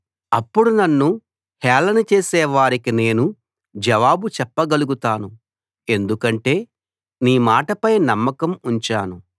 అప్పుడు నన్ను హేళన చేసే వారికి నేను జవాబు చెప్పగలుగుతాను ఎందుకంటే నీ మాటపై నమ్మకం ఉంచాను